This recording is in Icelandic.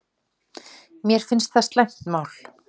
Mér finnst það slæmt mál